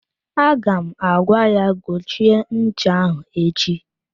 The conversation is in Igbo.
Aga m agwa ya gochie ncha ahụ echi!